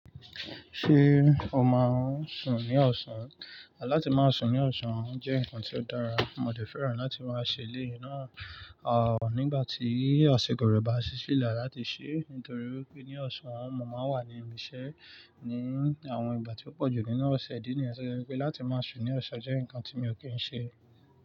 Ṣé o máa ń sùn ní ọ̀sán? Látí máa sùn ní ọ̀sán jẹ́ nǹkan tí ó dára, mo dẹ́ fẹ́ràn láti máa ṣe eleyii náà, à nígbà tí asiko re ba ṣí sílẹ̀ láti ṣe nítorí pé ní ọ̀sán mo máa ń wà ní ibi iṣẹ́ ní àwọn ìgbà tí ó pọ̀jù nínú ọ̀sẹ̀ ìdí nìyẹn ti je wupé láti máa sùn ní ọ̀sán jẹ́ nǹkan tí mi ò kí ń ṣe.